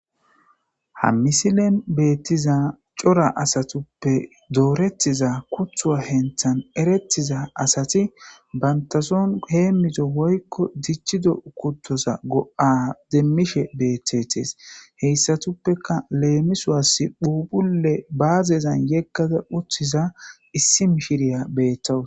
Ha misilen beettiza cora asatuppe doorettiza kuthuwa henthan erettiza asati bantasoon heemizo woykko dichido kuttoza go'a demmishe beethetees heyssatuppeka leemiswasi phupulle baazezan yeggada uthiza issimshiriya beettowus